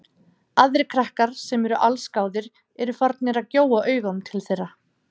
Aðrir krakkar, sem eru allsgáðir, eru farnir að gjóa augunum til þeirra.